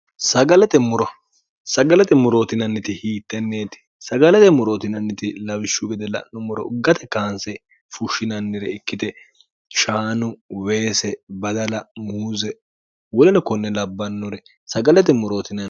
sagalate murootinanniti hiittenneeti sagalate murootinanniti lawishshu wede la'no moro uggate kaanse fushshinannire ikkite chaanu weese badala muuze wolino konne labbannore sagalae moroo